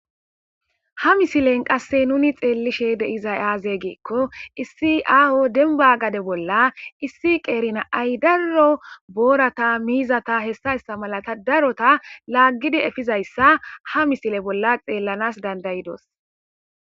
ha misilen qasse nuni xeellishe deizay aaze geekko issi aaho denba gade bolla issi qeerina ay darro boorata miizata hessayssa malata darota laaggidi efizayssa ha misile bolla xeellanas dandayidos